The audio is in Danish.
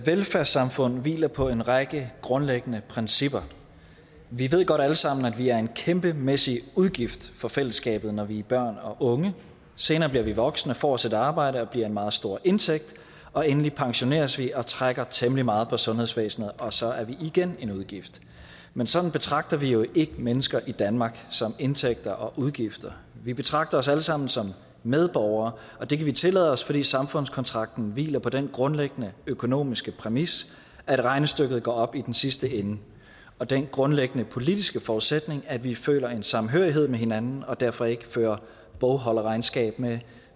velfærdssamfund hviler på en række grundlæggende principper vi ved godt alle sammen at vi er en kæmpemæssig udgift for fællesskabet når vi er børn og unge senere bliver vi voksne og får os et arbejde og bliver en meget stor indtægt og endelig pensioneres vi og trækker temmelig meget på sundhedsvæsenet og så er vi igen en udgift men sådan betragter vi jo ikke mennesker i danmark som indtægter og udgifter vi betragter os alle sammen som medborgere og det kan vi tillade os fordi samfundskontrakten hviler på den grundlæggende økonomiske præmis at regnestykket går op i den sidste ende og den grundlæggende politiske forudsætning at vi føler en samhørighed med hinanden og derfor ikke fører bogholderregnskab med